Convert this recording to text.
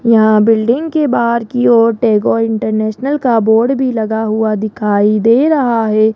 यहां बिल्डिंग के बाहर की ओर टैगोर इंटरनेशनल का बोर्ड भी लगा हुआ दिखाई दे रहा है।